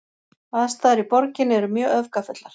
Aðstæður í borginni eru mjög öfgafullar